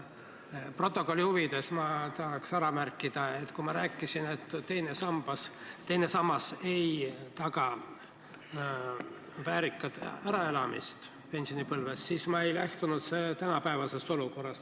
Stenogrammi huvides ma märgin, et kui ma ütlesin, et teine sammas ei taga väärikat äraelamist pensionipõlves, siis ma ei lähtunud tänapäeva olukorrast.